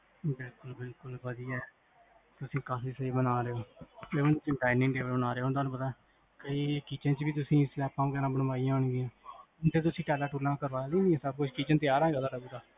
ਬਿਲਕੁਲ ਬਿਲਕੁਲ ਵਦੀਆਂ ਤੁਸੀਂ ਕਾਫੀ ਸਹੀ ਬਣਾ ਰੇ ਹੋ ਏਦੇ ਚ dining table ਬਣਾ ਰੇ ਹੋ ਓਹ ਤੁਹਾਨੂੰ ਪਤਾ ਕਈ kitchen ਚ ਵੀ ਤੁਸੀਂ ਸਲੈਬਾਂ ਬਣਾਈਆਂ ਹੋਣਗੀਆਂ kitchen ਤਿਆਰ ਹੈਗਾ ਤੁਹਾਡਾ?